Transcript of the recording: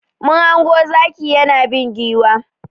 Mun hango zaki yana bin giwa.